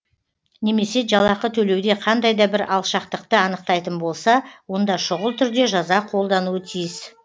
немесе жалақы төлеуде қандай да бір алшақтықты анықтайтын болса онда шұғыл түрде жаза қолдануы тиіс